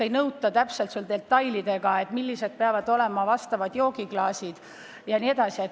Ei nõuta detailselt, millised peavad olema joogiklaasid, jne.